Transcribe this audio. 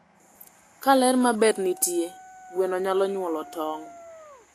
Ka ler ma ber nitie, gweno nyalo nyuolo tong`